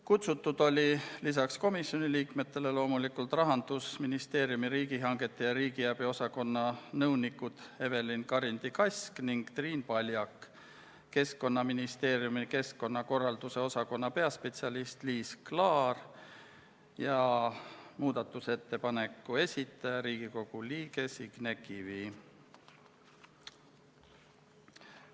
Kutsutud oli peale komisjoni liikmete loomulikult Rahandusministeeriumi riigihangete ja riigiabi osakonna nõunikud Evelin Karindi-Kask ning Triin Paljak, Keskkonnaministeeriumi keskkonnakorralduse osakonna peaspetsialist Liis Kaar ja muudatusettepaneku esitaja, Riigikogu liige Signe Kivi.